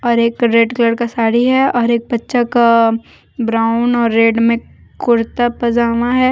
और एक red colour का साड़ी है और एक बच्चा का ब्राउन और रेड में कुर्ता पजामा है।